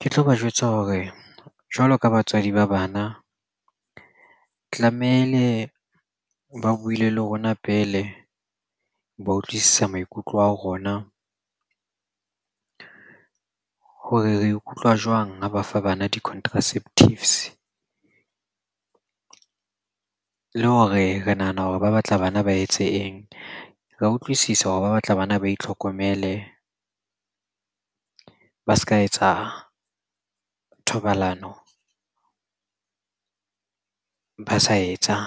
Ke tlo ba jwetsa hore jwalo ka batswadi ba bana tlamehile ba buile le rona pele, ba utlwisisa maikutlo a ho rona hore re ikutlwa jwang ha ba fa bana di-contraceptives. Le hore re nahana hore ba batla bana ba etse eng? Re a utlwisisa hore ba batla bana ba itlhokomele, ba s'ka etsa thobalano, ba sa etsa